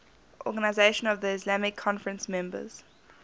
organisation of the islamic conference members